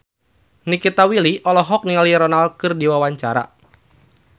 Nikita Willy olohok ningali Ronaldo keur diwawancara